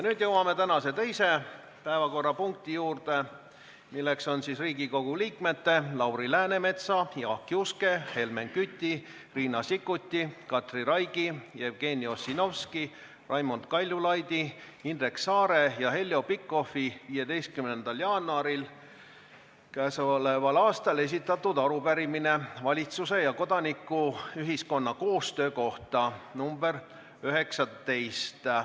Nüüd jõuame tänase teise päevakorrapunkti juurde, milleks on Riigikogu liikmete Lauri Läänemetsa, Jaak Juske, Helmen Küti, Riina Sikkuti, Katri Raigi, Jevgeni Ossinovski, Raimond Kaljulaidi, Indrek Saare ja Heljo Pikhofi 15. jaanuaril 2020 esitatud arupärimine valitsuse ja kodanikuühiskonna koostöö kohta .